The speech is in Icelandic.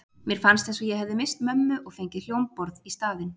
Mér fannst eins og ég hefði misst mömmu og fengið hljómborð í staðinn.